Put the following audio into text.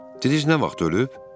Didiz nə vaxt ölüb?